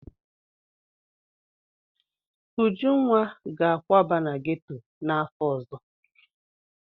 Ujunwa ga-akwaba na geto n'afọ ọzọ.